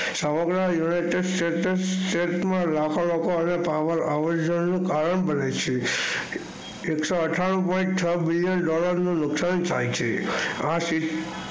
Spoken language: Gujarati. સમગ્ર united state લાખો લોકો કારણ બને છે એક સો અથાનું point છ બિલિયન dollar નું નુકસાન થાય છે.